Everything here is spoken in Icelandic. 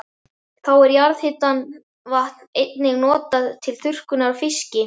Þá er jarðhitavatn einnig notað til þurrkunar á fiski.